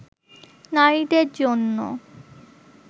নারীদের জন্য